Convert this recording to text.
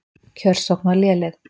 Kjörsókn var léleg.